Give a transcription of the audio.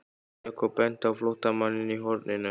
Jakob benti á flóttamanninn í horninu.